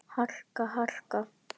harka. harka.